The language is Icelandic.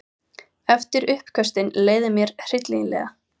Eftir uppköstin leið mér hryllilega.